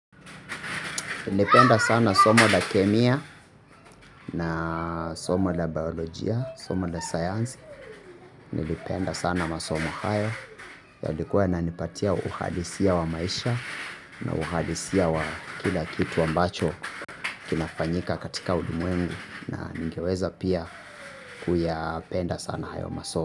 Nilipenda sana somo la kemia na somo la biolojia, somo la sayansi. Nilipenda sana masomo haya. Yalikuwa yananipatia uhalisia wa maisha na uhalisia wa kila kitu ambacho kinafanyika katika ulimwengu na ningeweza pia kuyapenda sana hayo masomo.